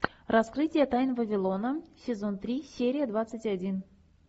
раскрытие тайн вавилона сезон три серия двадцать один